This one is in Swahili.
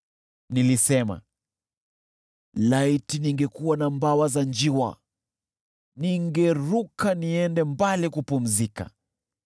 Nilisema, “Laiti ningekuwa na mbawa za njiwa! Ningeruka niende mbali kupumzika.